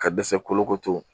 Ka dɛsɛ kolokoto